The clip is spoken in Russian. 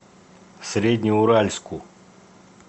среднеуральску